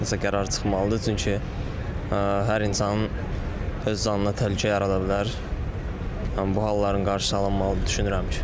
nəsə qərar çıxmalıdır, çünki hər insanın öz canına təhlükə yarada bilər, bu halların qarşısı alınmalıdır düşünürəm ki.